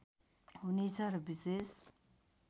हुने छ र विशेष